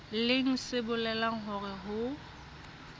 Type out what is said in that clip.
leng se bolelang hore ho